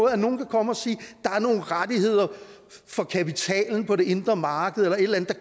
at nogen kan komme og sige der er nogle rettigheder for kapitalen på det indre marked eller et eller